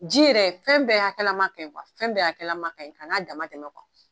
Ji yɛrɛ fɛn bɛɛ hakɛlama kaɲi fɛn bɛɛ hakɛlama kaɲi ka na damantɛmɛ